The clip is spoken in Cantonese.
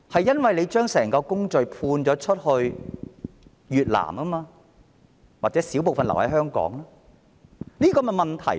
因為當局將整個工序判給越南——或者少部分留在香港——這就是問題所在。